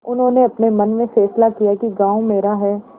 उन्होंने अपने मन में फैसला किया कि गॉँव मेरा है